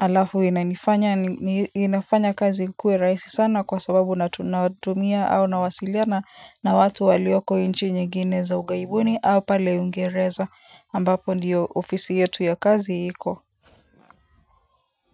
Halafu inafanya kazi ikuwe rahisi sana kwa sababu natumia au nawasiliana na watu walioko nchi nyingine za ugaibuni au pale uingereza ambapo ndiyo ofisi yetu ya kazi iko. Kwa hivyo.